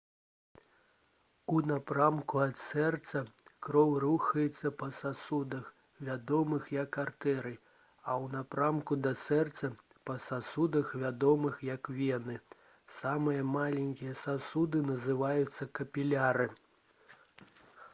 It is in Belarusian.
у напрамку ад сэрца кроў рухаецца па сасудах вядомых як артэрыі а ў напрамку да сэрца па сасудах вядомых як вены самыя маленькія сасуды называюцца капіляры